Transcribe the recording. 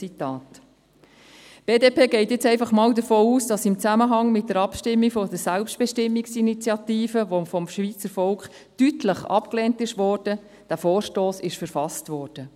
Die BDP geht jetzt einfach mal davon aus, dass dieser Vorstoss im Zusammenhang mit der Abstimmung über die Selbstbestimmungs-Initiative, die vom Schweizer Volk deutlich abgelehnt wurde, verfasst wurde.